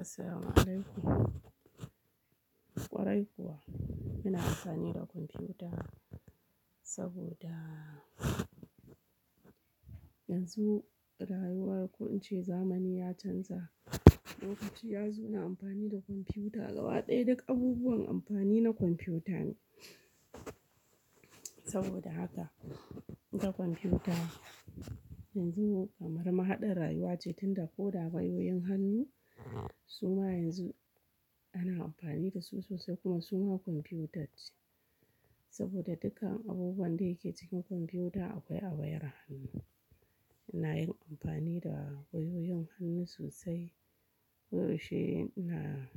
Asalamualaikum, ƙwarai kuwa. Muna amfani da kwamfuta saboda yanzu rayuwa ko in ce zamani ya canza. Lokaci yazo na amfani da kwamfuta. Gaba ɗaya duk abubuwan amfani na kwamfuta ne. Saboda haka, kun ga kwamfuta yanzu kamar mahaɗar rayuwa ce, tun da ko da wayoyin hannu suma yanzu ana amfani dasu sosai kuma suma kwamfuta ce. Saboda dukkan abubuwan da yake cikin kwamfuta akwai a wayar hannu. Ina yin amfani da wayoyin hannu sosai. Ko yaushe ina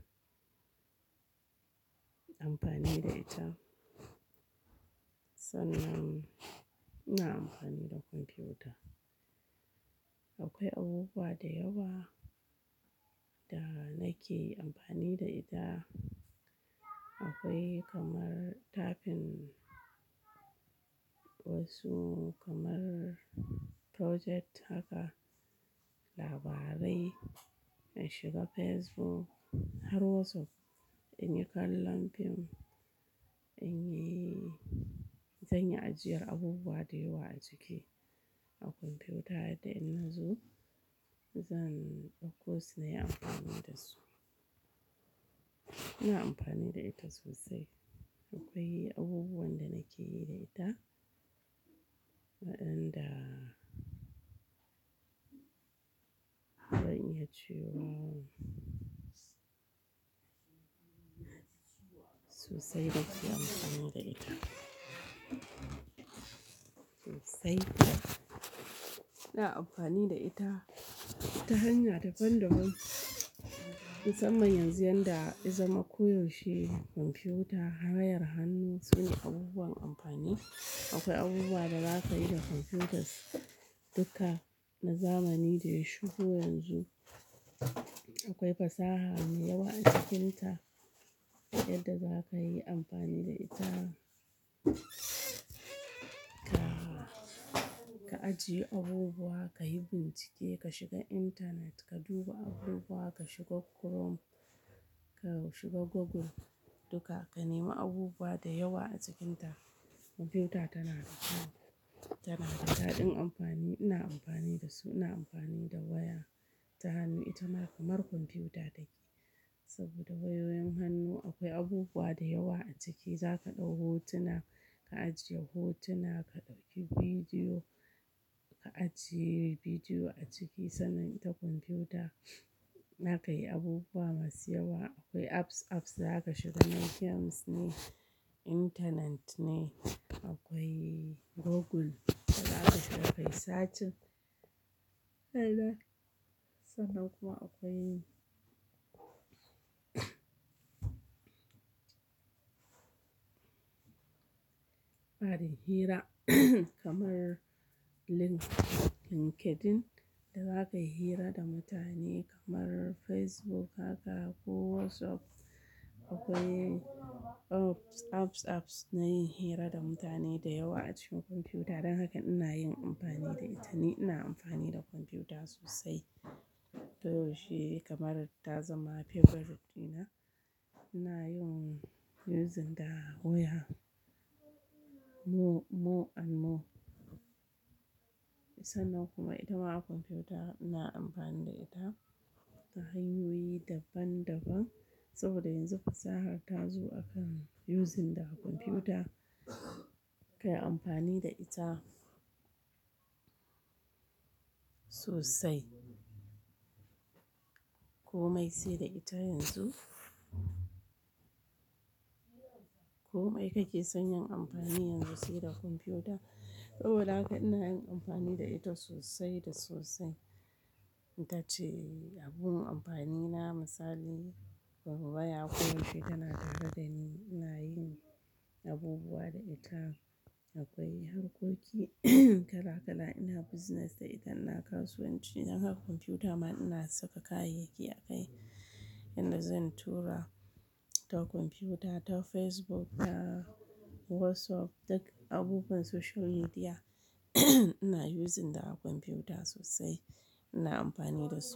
amfani da ita. Sannan ina amfani da kwamfuta. Akwai abubuwa da yawa da nake amfani da ita. Akwai kamar tafin wasu kamar project haka, labarai, in shiga Facebook har WhatsApp, in yi kallon film, in yi-- zanyi ajiyar abubuwa da yawa a ciki a kwamfuta yadda in nazo zan ɗauko su na yi amfani da su. Ina amfani da ita sosai. Akwai abubuwan da nake yi da ita waɗanda zan iya cewa sosai na ke amfani da ita. Sosai. Ina amfani da ita ta hanya daban-daban. Musamman yanzu yadda ya zama koyaushe kwamfuta, wayar hannu sune abubuwan amfani. Akwai abubuwa da zaka yi da kwamfutas, duka na zamani da ya shigo yanzu. Akwai fasaha mai yawa a cikinta yadda za ka yi amfani da ita. Ka, ka ajiye abubuwa, ka yi bincike, ka shiga internet, ka duba abubuwa, ka shiga Chrome, ka shiga Google duka, ka nemi abubuwa da yawa a cikinta. Kwamfuta tana da ka, tana da daɗin amfani. Ina amfani da su, ina amfani da waya ta hannu. Ita ma kamar kwamfuta take saboda wayoyin hannu akwai abubuwa da yawa a ciki. Za ka ɗau hotuna, ka ajiye hotuna, ka ɗauki vidiyo, ka ajiye vidiyo a ciki. Sannan ita kwamfuta za ka yi abubuwa masu yawa. Akwai apps, apps da za ka shiga. Na games ne, internet ne. Akwai Google da za ka shiga, ka yi searching. Haba sannan kuma akwai fadin hira kamar link-LinkedIn da za ka yi hira da mutane kamar Facebook haka ko WhatsApp. Akwai apps, apps, apps na yin hira da mutane da yawa a cikin kwamfuta. Dan haka ina yin amfani da ita ni. Ina amfani da kwamfuta sosai. Ko yaushe kamar ta zama favorite dina. Ina yin using da waya more, more and more. Sannan kuma ita ma kwamfuta ina amfani da ita ta hanyoyi daban-daban. Saboda yanzu fasaha ta zo a kan using da kwamfuta. Kayi amfani da ita sosai. Ko mai sai da ita yanzu. Ko mai kake san yi amfani yanzu sai da kwamfuta? Saboda haka ina yin amfani da ita sosai da sosai. Ita ce abun amfani na. Misali, waya koyaushe tana tare ɗa ni. Ina yin abubuwa da ita. Akwai harkoki kala-kala. Ina business da ita. Ina kasuwanci. Dan haka kwamfuta ma ina saka kayayyaki a kai inda zan tura ta kwamfuta, ta Facebook, ta WhatsApp. Duk abubuwan social media ina using da kwamfuta sosai. Ina amfani da su.